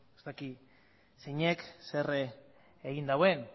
ez dakit zeinek zer egin duen